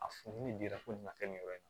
A furu ni diyara fo nin ma kɛ nin yɔrɔ in na